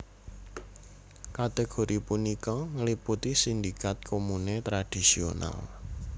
Kategori punika ngliputi sindikat komune tradisional